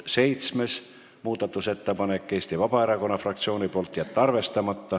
Seitsmes muudatusettepanek on Eesti Vabaerakonna fraktsioonilt, ettepanek: jätta arvestamata.